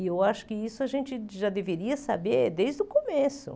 E eu acho que isso a gente já deveria saber desde o começo.